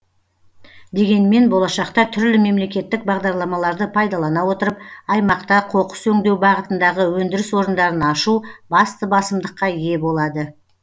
дегенмен болашақта түрлі мемлекеттік бағдарламаларды пайдалана отырып аймақта қоқыс өңдеу бағытындағы өндіріс орындарын ашу басты басымдыққа ие болады